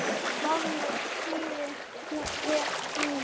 Barmur þýðir hér brún.